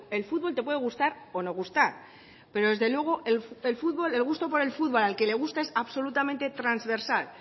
el fútbol te puede gustar o no gustar pero desde luego el gusto por el fútbol al que le gusta es absolutamente transversal